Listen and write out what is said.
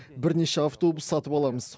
бірнеше автобус сатып аламыз